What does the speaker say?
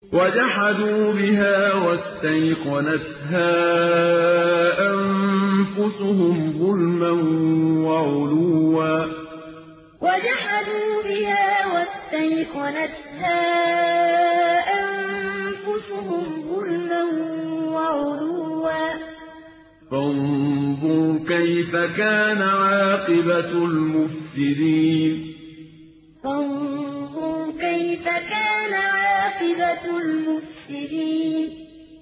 وَجَحَدُوا بِهَا وَاسْتَيْقَنَتْهَا أَنفُسُهُمْ ظُلْمًا وَعُلُوًّا ۚ فَانظُرْ كَيْفَ كَانَ عَاقِبَةُ الْمُفْسِدِينَ وَجَحَدُوا بِهَا وَاسْتَيْقَنَتْهَا أَنفُسُهُمْ ظُلْمًا وَعُلُوًّا ۚ فَانظُرْ كَيْفَ كَانَ عَاقِبَةُ الْمُفْسِدِينَ